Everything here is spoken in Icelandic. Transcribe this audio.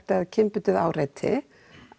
eða kynbundið áreiti